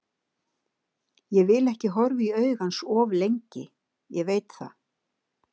Ég vil ekki horfa í augu hans of lengi, ég veit það.